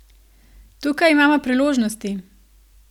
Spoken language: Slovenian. Tukaj imamo priložnosti!